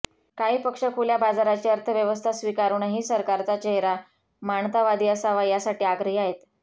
काही पक्ष खुल्या बाजाराची अर्थव्यवस्था स्वीकारूनही सरकारचा चेहरा मानतावादी असावा यासाठी आग्रही आहेत